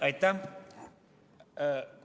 Aitäh!